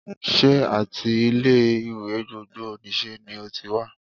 Sé áti ilé ìwé gbogbo nìse ni o ti wá?